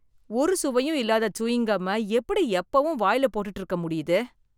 ஒரு சுவையும் இல்லாத சூயிங் கம்ம எப்படி எப்பவும் வாயில போட்டுட்டு இருக்க முடியுது?